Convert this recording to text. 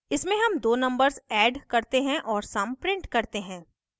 इसमे sum दो numbers add करते हैं और sum print करते हैं